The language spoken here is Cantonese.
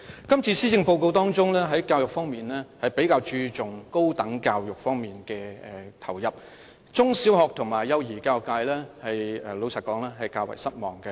這次施政報告，在教育方面比較注重投入資源於高等教育方面，坦白說，中、小學及幼兒教育界感到較為失望。